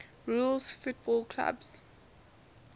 rules football clubs